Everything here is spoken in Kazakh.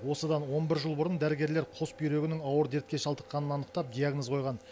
осыдан он бір жыл бұрын дәрігерлер қос бүйрегінің ауыр дертке шалдыққанын анықтап диагноз қойған